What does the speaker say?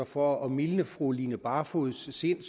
for at mildne fru line barfods sind